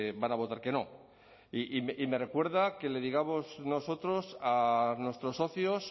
van a votar que no y me recuerda que le digamos nosotros a nuestros socios